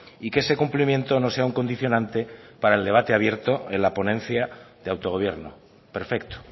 y que ese cumplimiento no sea un condicionante para el debate abierto en la ponencia de autogobierno perfecto